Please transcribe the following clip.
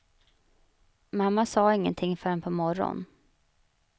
Mamma sade ingenting förrän på morgonen.